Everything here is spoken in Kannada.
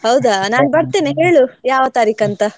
ಹೌದಾ ನಾನ್ ಬರ್ತೇನೆ ಹೇಳು ಯಾವ ತಾರಿಕ್ ಅಂತ.